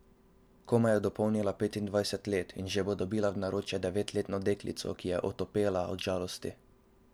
Komaj je dopolnila petindvajset let, in že bo dobila v naročje devetletno deklico, ki je otopela od žalosti.